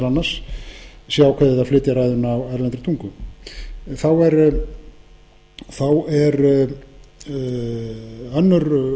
annars sé ákveðið að flytja ræðuna á erlendri tungu þá er önnur